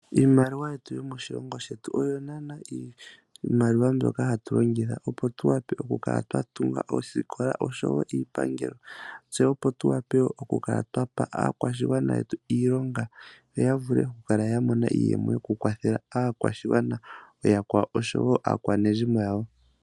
Iimaliwa yetu yomoshilongo shetu oyo naana iimaliwa mbyoka hatu longitha opo tu wape oku kala twa tunga oosikola oshowo, iipangelo, tse opo tu wape oku kala twapa aakwashigwana yetu iilonga, yo ya vule oku mona iiyemo yoku kwathela aakwashigwana ooyakwawo, oshowo aakwanezimo yawo.